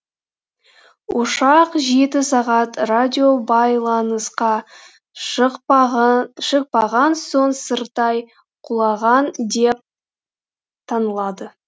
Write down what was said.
ұшақ жеті сағат радиобайланысқа шықпаған соң сырттай құлаған деп танылады